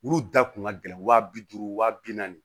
Olu da kun ka gɛlɛn wa bi duuru wa bi naani